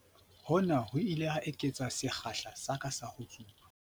Hona ho ile ha eketsa sekgahla sa ka sa ho tsuba.